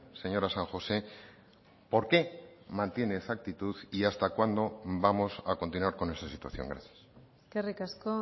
señora san josé por qué mantiene esa actitud y hasta cuándo vamos a continuar con esta situación gracias eskerrik asko